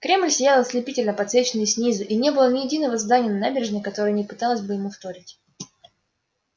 кремль сиял ослепительно подсвеченный снизу и не было ни единого здания на набережной которое не пыталось бы ему вторить